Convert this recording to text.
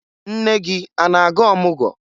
Nne gị a na-aga ọmụgwọ?